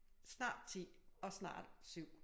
Snart 10 og snart 7